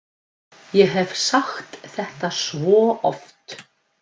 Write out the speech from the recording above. Ég hef sagt þetta svo oft.